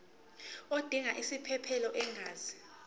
odinga isiphesphelo angenza